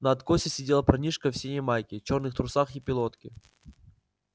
на откосе сидел парнишка в синей майке чёрных трусах и пилотке